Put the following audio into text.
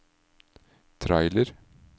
trailer